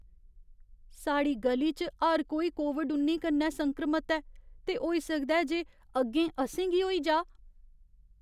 साढ़ी ग'ली च हर कोई कोविड उन्नी कन्नै संक्रमत ऐ ते होई सकदा ऐ जे अग्गें असें गी होई जाऽ।